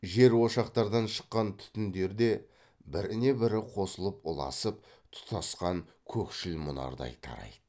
жер ошақтардан шыққан түтіндері де біріне бірі қосылып ұласып тұтасқан көкшіл мұнардай тарайды